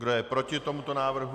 Kdo je proti tomuto návrhu?